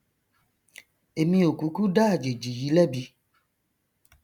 èmi ò kúkú dá àjèjì yìí lẹbi